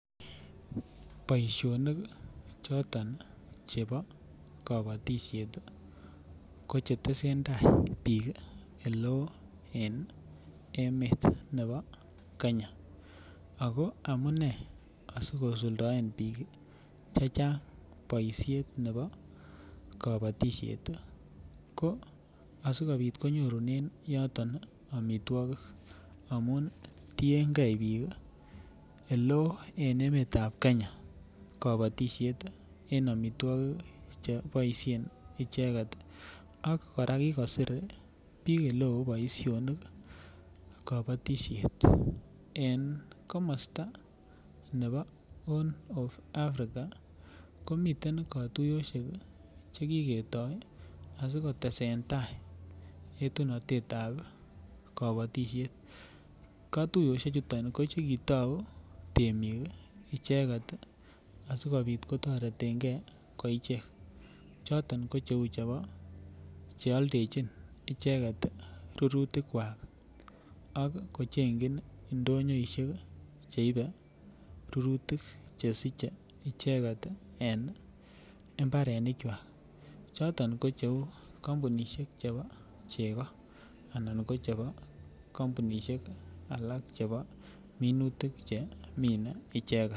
Boishonik choto chebo kobotishet tii kochetesentai bik oleu en emet nebo Kenya ako amunee asikosuldaen bik chechang boishet nebo kobotishet tiii ko asikopit konyorunen yoton omitwokik amun tiyengee bik ole en emetab Kenya en omitwokik cheboishen icheket ak Koraa nkikosir bik ole kobotishet. En komosto nebo Horn of Africa komiten kotuyoshek chekiketo asikotestai yetunotetab kobotishet, kotuyoshek chuton ko chekitou temiket icheketnasikopit kotoretengee icheket choton ko cheu chebo cheoldechi icheket rurutik kwak am kochenkin ndonyoishek cheibe rurutik chesiche icheket en imbarenik kwak choton ko cheun kompunishek chebo chego anan ko chebo kompunishek alak chebo minutik chemiten icheket.